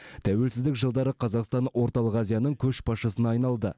тәуелсіздік жылдары қазақстан орталық азияның көшбасшысына айналды